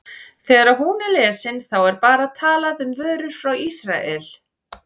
Þegar hún er lesin, þá er bara talað um vörur frá Ísrael?